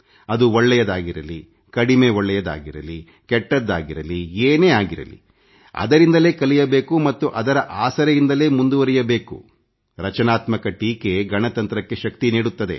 ಅದು ಒಳ್ಳೆಯದಾಗಿರಲಿ ಕಡಿಮೆ ಒಳ್ಳೆಯದಾಗಿರಲಿ ಕೆಟ್ಟದ್ದಾಗಿರಲಿ ಏನೇ ಆಗಿರಲಿ ಅದರಿಂದಲೇ ಕಲಿಯಬೇಕು ಮತ್ತು ಅದರ ಆಸರೆಯಿಂದಲೇ ಮುಂದುವರೆಯಬೇಕು ರಚನಾತ್ಮಕ ಟೀಕೆ ಗಣತಂತ್ರಕ್ಕೆ ಶಕ್ತಿ ನೀಡುತ್ತದೆ